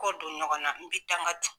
Kɔ don ɲɔgɔnna n bɛ dangan don.